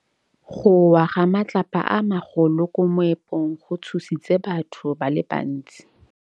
Go wa ga matlapa a magolo ko moepong go tshositse batho ba le bantsi.